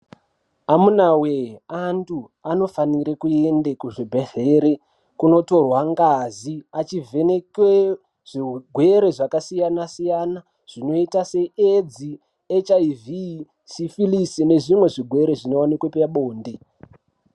Amuna we antu anofanira kuenda kuzvibhedhlera kunotorwa ngazi achivhenekewa zvirwere zvakasiyana siyana zvinoita seAIDS HIV sifilisi nezvimwe zvirwere zvinowanikwa pabonde.